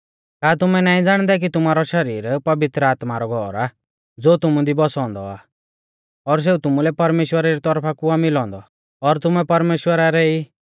का तुमै नाईं ज़ाणदै कि तुमारौ शरीर पवित्र आत्मा रौ घौर आ ज़ो तुमु दी बौसौ औन्दौ आ और सेऊ तुमुलै परमेश्‍वरा री तौरफा कु आ मिलौ औन्दौ और तुमै परमेश्‍वरा रै ई